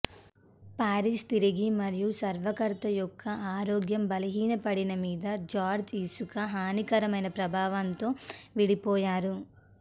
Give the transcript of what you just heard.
Paris తిరిగి మరియు స్వరకర్త యొక్క ఆరోగ్య బలహీనపడిన మీద జార్జ్ ఇసుక హానికరమైన ప్రభావాన్ని తో విడిపోయారు